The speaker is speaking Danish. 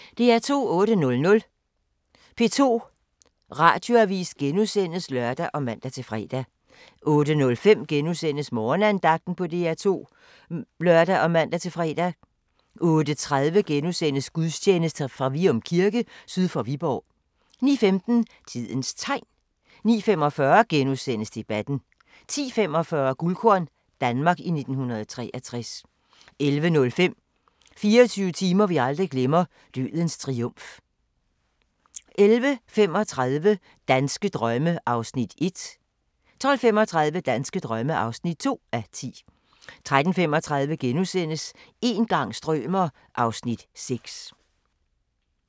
08:00: P2 Radioavis *(lør og man-fre) 08:05: Morgenandagten på DR2 *(lør og man-fre) 08:30: Gudstjeneste fra Vium Kirke syd for Viborg * 09:15: Tidens Tegn 09:45: Debatten * 10:45: Guldkorn – Danmark i 1963 11:05: 24 timer vi aldrig glemmer - Dødens Triumf 11:35: Danske drømme (1:10) 12:35: Danske drømme (2:10) 13:35: Een gang strømer... (Afs. 6)*